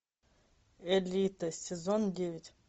элита сезон девять